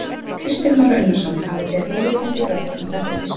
Kristján Már Unnarsson: Hafið þið óyggjandi gögn um að þetta sé svona?